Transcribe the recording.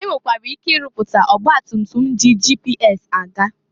E nwekwara ike ịrụpụta ọgbatutum ji GPS aga.